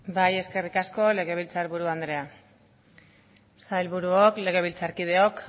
bai eskerrik asko legebiltzar buru anderea sailburuok legelbiltzarkideok